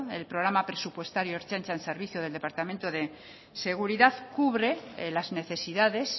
el programa presupuestario ertzaintza en servicio del departamento de seguridad cubre las necesidades